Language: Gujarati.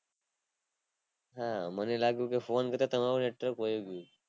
હા મને લાગ્યું કે phone કરી તમારું network વયુ ગયું